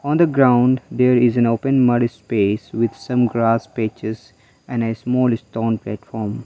on the ground there is an open mud space with some grass patches and a small stone platform.